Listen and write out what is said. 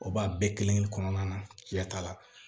O b'a bɛɛ kelen-kelen kɔnɔna na cɛ t'a la